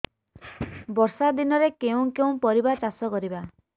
ବର୍ଷା ଦିନରେ କେଉଁ କେଉଁ ପରିବା ଚାଷ କରିବା